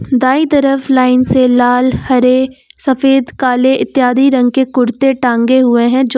दाई तरफ लाइन से लाल हरे सफेद काले इत्यादि रंग के कुर्ते टांगे हुए हैं जो--